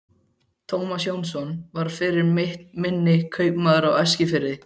Tómas Jónsson var fyrir mitt minni kaupmaður á Eskifirði.